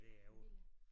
Det billigere